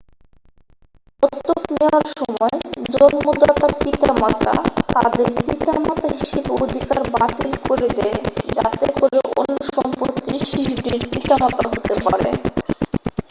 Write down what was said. দত্তক নেয়ার সময় জন্মদাতা পিতামাতা তাদের পিতামাতা হিসেবে অধিকার বাতিল করে দেয় যাতে করে অন্য দম্পতি শিশুটির পিতামাতা হতে পারে